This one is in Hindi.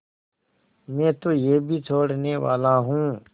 मैं तो यह भी छोड़नेवाला हूँ